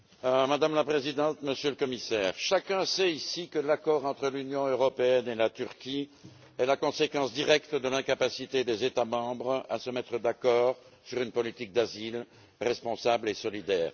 Madame la Présidente, Monsieur le Commissaire, chacun ici sait que l'accord entre l'Union européenne et la Turquie est la conséquence directe de l'incapacité des États membres à se mettre d'accord sur une politique d'asile responsable et solidaire.